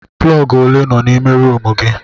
Plọg ole nọ n'ime rumụ gị.